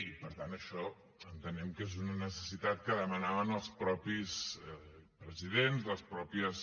i per tant això entenem que és una necessitat que demanaven els mateixos presidents les mateixes